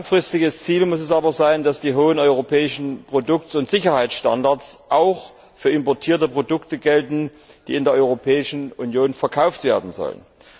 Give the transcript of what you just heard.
Langfristiges Ziel muss es aber sein, dass die hohen europäischen Produkt und Sicherheitsstandards auch für importierte Produkte gelten, die in der Europäischen Union verkauft werden sollen.